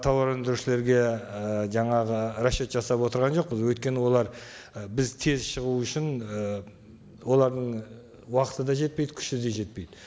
тауар өндірушілерге і жаңағы расчет жасап отырған жоқпыз өйткені олар і біз тез шығу үшін ы олардың уақыты да жетпейді күші де жетпейді